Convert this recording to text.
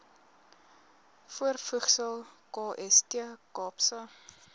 voorvoegsel kst kaapse